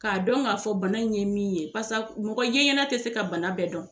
K'a dɔn k'a fɔ bana in ye min ye pasa mɔgɔ yeɲɛna tɛ se ka bana bɛɛ dɔn.